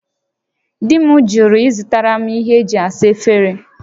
Di m jụrụ ịzụtara m ihe e ji asa efere